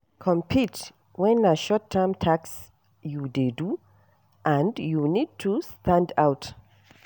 Compete when na short term task you dey do and you need to stand out